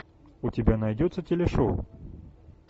у тебя найдется телешоу